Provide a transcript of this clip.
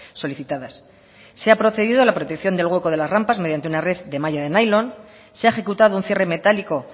solicitadas se ha procedido a la protección del hueco de las rampas mediante una red de malla de nailon se ha ejecutado un cierre metálico